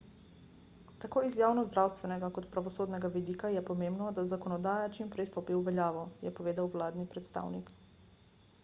tako iz javnozdravstvenega kot pravosodnega vidika je pomembno da zakonodaja čimprej stopi v veljavo je povedal vladni predstavnik